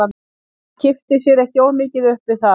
Hann kippti sér ekki of mikið upp við það.